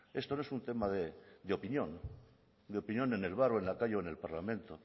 esto no es un tema de opinión de opinión en el bar en la calle o en el parlamento